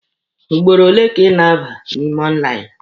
Ugboro ole ka ị na-abata n'ime lainụ?